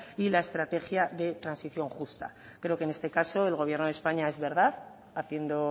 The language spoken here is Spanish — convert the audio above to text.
y la estrategia de transición justa creo que en este caso el gobierno de españa es verdad haciendo